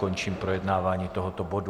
Končím projednávání tohoto bodu.